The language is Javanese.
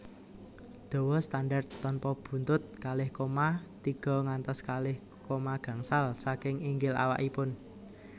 Dawa standar tanpa buntut kalih koma tiga ngantos kalih koma gangsal saking inggil awakipun